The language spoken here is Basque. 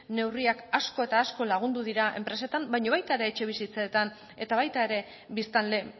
neurriak asko eta asko lagundu dira enpresetan baina baita ere etxebizitzetan eta baita ere biztanle